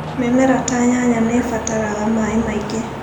Mĩmera ta nyanya nĩ ĩbataraga maĩ maingĩ.